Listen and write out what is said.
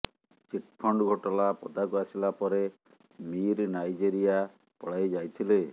chit fund ଘୋଟାଲା ପଦାକୁ ଆସିଲା ପରେ ମୀର ନାଇଜେରିଆ ପଳାଇ ଯାଇଥିଲେ